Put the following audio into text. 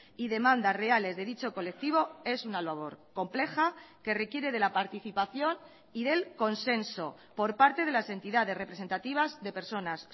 y demandas reales de dicho colectivo es una labor compleja que requiere de la participación y del consenso por parte de las entidades representativas de personas